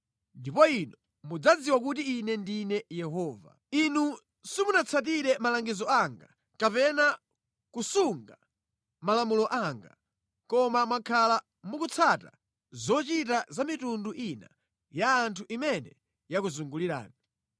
Ndipo inu mudzadziwa kuti Ine ndine Yehova. Inu simunatsatire malangizo anga kapena kusunga malamulo anga koma mwakhala mukutsata zochita za mitundu ina ya anthu imene yakuzungulirani.’ ”